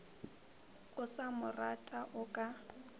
o sa morata o ka